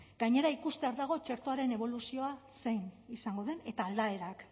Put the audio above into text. gainera ikustear dagoen txertoaren eboluzioa zein izango den eta aldaerak